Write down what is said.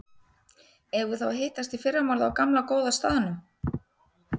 Eigum við þá að hittast í fyrramálið á gamla, góða staðnum?